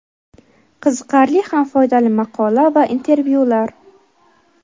Qiziqarli ham foydali maqola va intervyular.